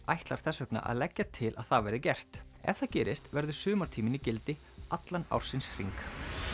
ætlar þess vegna að leggja til að það verði gert ef það gerist verður sumartíminn í gildi allan ársins hring